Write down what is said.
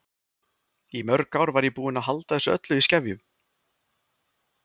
Í mörg ár var ég búin að halda þessu öllu í skefjum.